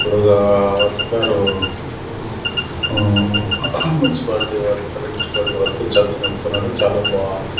ఇక్కడ ఒక వర్కరు మ్ మ్మ్ మున్సిపాలిటీ వర్కరు మున్సిపాలిటీ వర్కు చెత్తనెత్తుతున్నాడు చాలా బాంది .